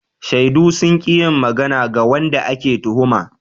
Shaidu sun ki yin magana ga wanda ake tuhuma.